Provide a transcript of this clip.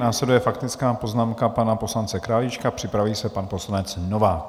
Následuje faktická poznámka pana poslance Králíčka, připraví se pan poslanec Novák.